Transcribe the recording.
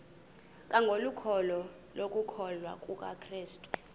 kwangokholo lokukholwa kukrestu